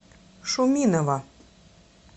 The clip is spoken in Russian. шуминова